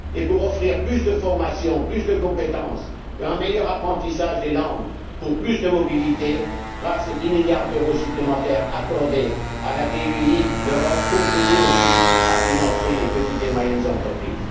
Et pour offrir plus de formations, plus de compétences, un meilleur apprentissage des langues, pour plus de mobilité, grâce aux dix milliards d'euros supplémentaires accordés à la BEI, l'Europe contribue aussi à financer les petites et moyennes entreprises.